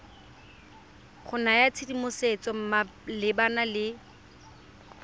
go naya tshedimosetso malebana le